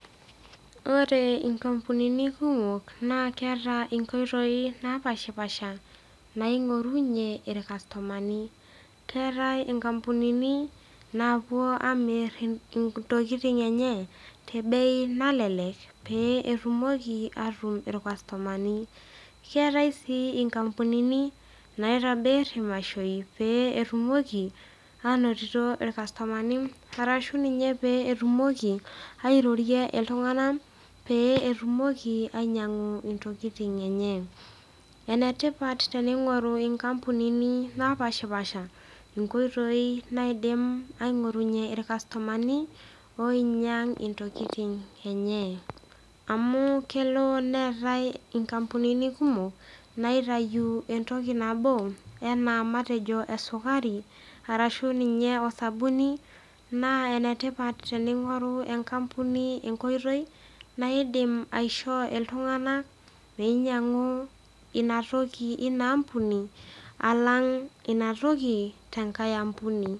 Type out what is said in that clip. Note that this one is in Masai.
Ore inkampunini kumok naa keata inkoitoi napaashipasha naing'orunye ilkastomani. Keatai inkampunini naapuo aamir intokitin eenye, te ebei nalelek peyie etumoki ainoto lkastomani. keatai sii inkapunini naitobir imashoi pee etumoki ainotito ilkastomani ashu ninye pee etumoki airorie iltung'anak peyie etumoki ainyang'a intokitin enye. Enetipat teneing'oru inkampunini napaashipaasha inkoitoi aingorunye ilkastomani oinyang' intokitin enye, amau kelo neatai inkapunini kumok naitayu entoki nabo naa matejo esukari, arshu ninye osabuni, naa enetipat teneing'oru enkapuni enkoitoi naidim aishoo iltung'ana meinyang'u ina toki inaa ampuni alang ina toki tenkai ampuni.